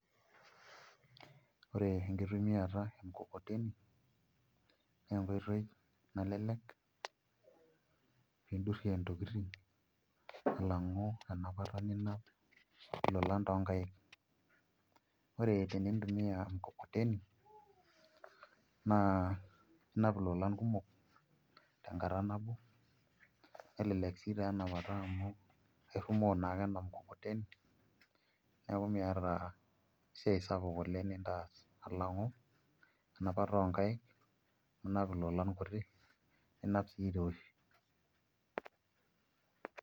Ore enkitumiata emkokoteni naa enkoitoi nalelek nindurrie ntokitin alang'u enapata ilolan toonkaik ore tenintumiaa emkokoteni naa inap ilolan kumok tenkata nabo nelelek sii enapata amu airrumoo naake ena mkokoteni neeku miata esiai sapuk oleng' nitaas alang'u enapata oonkaik ninap ilolan kuti ninap sii iroshi.